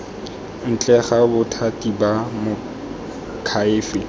ntle ga bothati ba moakhaefe